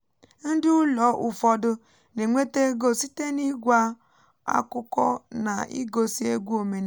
ndị ụlọ ụfọdụ na-enweta ego site n’ịgwa akụkọ na igosi egwu omenala